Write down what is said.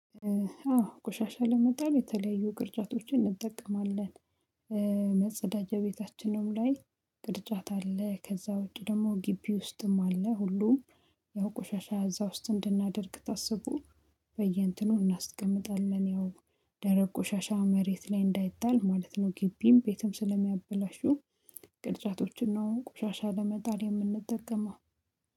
አዎ ቆሻሻ ለመጣል የተለያዩ ቅርጫቶችን እንጠቀማለን። መጸዳጃ ቤታችንም ላይ ቅርጫት አለ ከዛ ወዲህ ደግሞ ግቢ ውስጥም አለ። ሁሉም ያው ቆሻሻ እዛ ውስጥ እንድናደርግ ታስቡ በየእንትኑ እናስቀምጣለን። ያው ደረቅ ቆሻሻ መሬት ላይ እንዳይጣል ማለት ነው። ግቢም ቤትም ስለሚያበላሹ ቅርጫቶችን ነው ቆሻሻ ለመጣል የምንጠቀመው